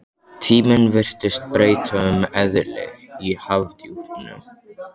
Tíminn virtist breyta um eðli í hafdjúpunum.